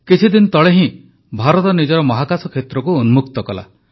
କିଛିଦିନ ତଳେ ହିଁ ଭାରତ ନିଜର ମହାକାଶ କ୍ଷେତ୍ରକୁ ଉନ୍ମୁକ୍ତ କଲା